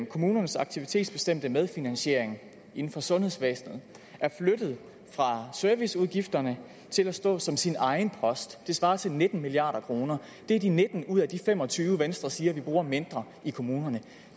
kommunernes aktivitetsbestemte medfinansiering inden for sundhedsvæsenet er flyttet fra serviceudgifterne til at stå som sin egen post det svarer til nitten milliard kroner det er de nitten ud af de fem og tyve venstre siger vi bruger mindre i kommunerne